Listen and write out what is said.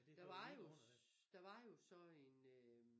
Der var jo der var jo så en øh